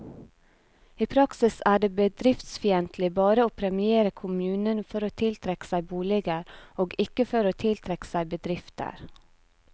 I praksis er det bedriftsfiendtlig bare å premiere kommunene for å tiltrekke seg boliger, og ikke for å tiltrekke seg bedrifter.